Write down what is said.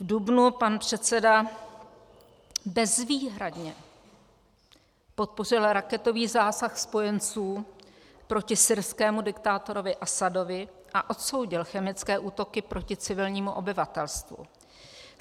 V dubnu pan předseda bezvýhradně podpořil raketový zásah spojenců proti syrskému diktátorovi Asadovi a odsoudil chemické útoky proti civilnímu obyvatelstvu.